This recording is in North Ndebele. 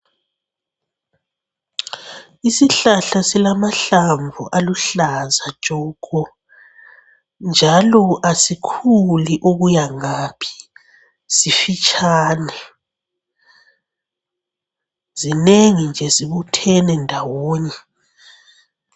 Isihlahla silamahlamvu aluhlaza tshoko njalo asikhuli okuyangaphi simfitshane. Zinengi nje zibuthene ndawonye.